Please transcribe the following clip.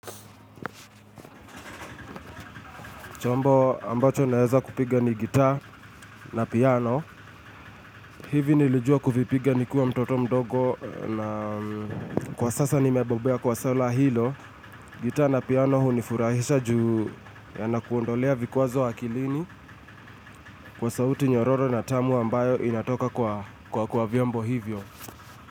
Chombo ambacho naeza kupiga ni gitaa na piano. Hivi nilijua kuvipiga nikiwa mtoto mdogo na kwa sasa ni mebobea kwa swaa hilo. Gitaa na piano hunifurahisha juu ya nakuondolea vikwazo akilini kwa sauti nyororo na tamu ambayo inatoka kwa kwa kwa vyombo hivyo.